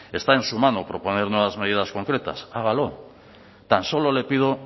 está en su mano proponer nuevas medidas concretas hágalo tan solo le pido